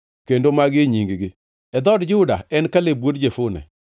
“Kendo magi e nying-gi: “e dhood Juda, en Kaleb wuod Jefune;